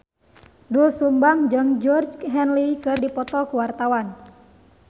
Doel Sumbang jeung Georgie Henley keur dipoto ku wartawan